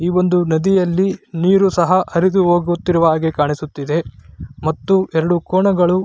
ಈ ವೊಂದು ನದಿಯಲ್ಲಿ ನೀರು ಸಹ ಹರಿದು ಹೋಗುತ್ತಿರುವ ಹಾಗೆ ಕಾಣಿಸುತ್ತಿದೆ ಮತ್ತು ಎರಡು ಕೋಣಗಳು--